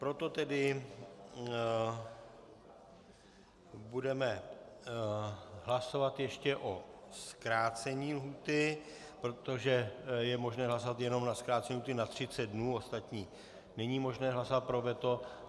Proto tedy budeme hlasovat ještě o zkrácení lhůty, protože je možné hlasovat jenom o zkrácení lhůty na 30 dnů, ostatní není možné hlasovat pro veto.